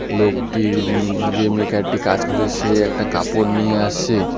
লোকটি উম যে মেকার -টি কাজ করেছে একটি কাপড় নিয়ে আসছে।